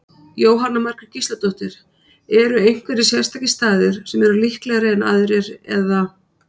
Jóhanna Margrét Gísladóttir: Eru einhverjir sérstakir staðir sem eru líklegri aðrir, eða?